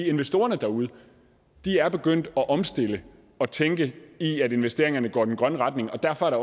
investorerne derude er begyndt at omstille og tænke i at investeringerne går i den grønne retning og derfor er